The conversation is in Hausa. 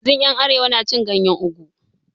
Yanzun yan arewa na cin ganyen ogu